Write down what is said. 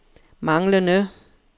manglende